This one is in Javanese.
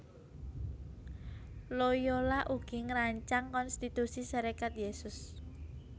Loyola ugi ngrancang Konstitusi Serikat Yésus